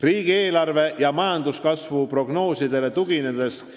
Riigieelarve ja majanduskasvu prognoosidele tuginedes võib